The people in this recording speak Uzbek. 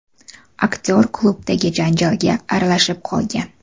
Aktyor klubdagi janjalga aralashib qolgan.